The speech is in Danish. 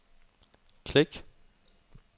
klik